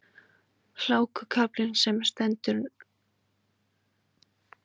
Hlákukaflinn sem nú stendur sé hefðbundinn